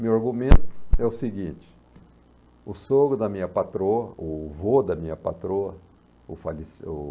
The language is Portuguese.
Meu argumento é o seguinte, o sogro da minha patroa, o vô da minha patroa, o faleci o...